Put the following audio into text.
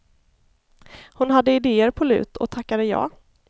Hon hade idéer på lut och tackade ja.